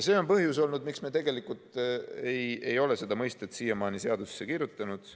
See on põhjus, miks me tegelikult ei ole seda mõistet siiamaani seadusesse kirjutanud.